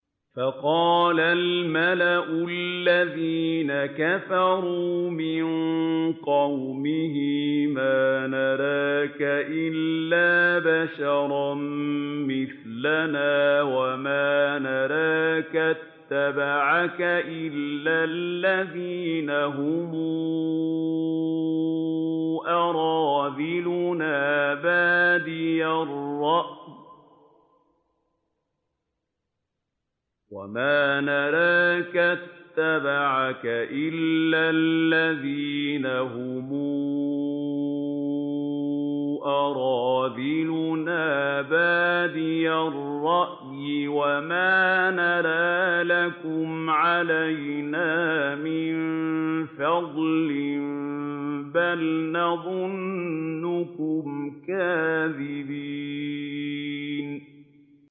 فَقَالَ الْمَلَأُ الَّذِينَ كَفَرُوا مِن قَوْمِهِ مَا نَرَاكَ إِلَّا بَشَرًا مِّثْلَنَا وَمَا نَرَاكَ اتَّبَعَكَ إِلَّا الَّذِينَ هُمْ أَرَاذِلُنَا بَادِيَ الرَّأْيِ وَمَا نَرَىٰ لَكُمْ عَلَيْنَا مِن فَضْلٍ بَلْ نَظُنُّكُمْ كَاذِبِينَ